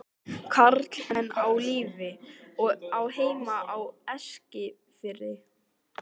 Karl er enn á lífi og á heima á Eskifirði.